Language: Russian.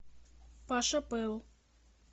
паша пэл